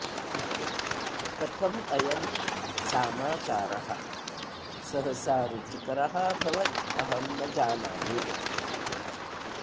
कथम् अयं सामाचारः सहसा रुचिकरः अभवत् अहं न जानामि